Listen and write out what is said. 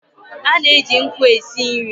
A na-eji nkụ e si nri.